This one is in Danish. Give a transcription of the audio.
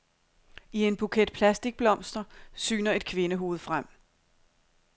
I en buket plastikblomster syner et kvindehoved frem.